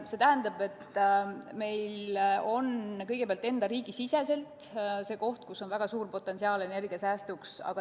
See tähendab kõigepealt, et meil on oma riigis võimalus, potentsiaal energiasäästuks.